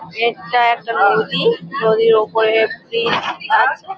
এইটা একটা নদী। নদীর ওপরে একটু গাছ।